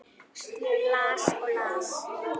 Las og las.